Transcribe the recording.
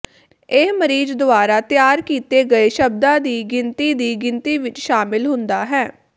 ਇਹ ਮਰੀਜ਼ ਦੁਆਰਾ ਤਿਆਰ ਕੀਤੇ ਗਏ ਸ਼ਬਦਾਂ ਦੀ ਗਿਣਤੀ ਦੀ ਗਿਣਤੀ ਵਿੱਚ ਸ਼ਾਮਲ ਹੁੰਦਾ ਹੈ